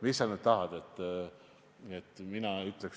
Mis sa nüüd tahad, et ma ütleksin?